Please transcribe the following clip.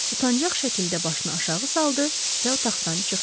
Utancaq şəkildə başını aşağı saldı və otaqdan çıxdı.